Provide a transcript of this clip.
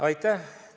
Aitäh!